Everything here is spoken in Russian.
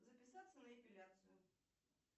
записаться на эпиляцию